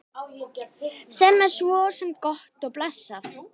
Sem er svo sem gott og blessað.